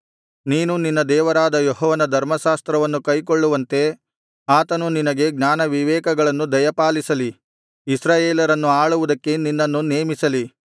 ನೀನು ನಿನ್ನ ದೇವರಾದ ಯೆಹೋವನ ಧರ್ಮಶಾಸ್ತ್ರವನ್ನು ಕೈಕೊಳ್ಳುವಂತೆ ಆತನು ನಿನಗೆ ಜ್ಞಾನವಿವೇಕಗಳನ್ನು ದಯಪಾಲಿಸಿ ಇಸ್ರಾಯೇಲರನ್ನು ಆಳುವುದಕ್ಕೆ ನಿನ್ನನ್ನು ನೇಮಿಸಲಿ